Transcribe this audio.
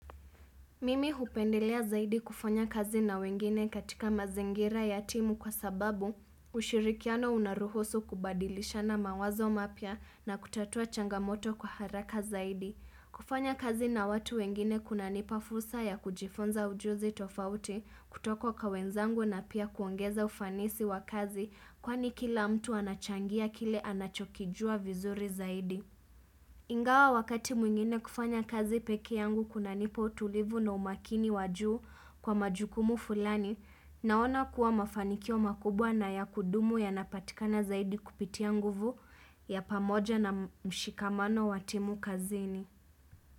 Mimi hupendelea zaidi kufanya kazi na wengine katika mazingira ya timu kwa sababu ushirikiano unaruhusu kubadilishana mawazo mapya na kutatua changamoto kwa haraka zaidi. Kufanya kazi na watu wengine kunanipa fursa ya kujifunza ujuzi tofauti kutoka kwa wenzangu na pia kuongeza ufanisi wa kazi kwani kila mtu anachangia kile anachokijua vizuri zaidi. Ingawa wakati mwingine kufanya kazi peke yangu kunanipa utulivu na umakini wa juu kwa majukumu fulani, naona kuwa mafanikio makubwa na ya kudumu yanapatikana zaidi kupitia nguvu ya pamoja na mshikamano wa timu kazini.